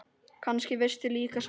Kannski veistu líka svarið.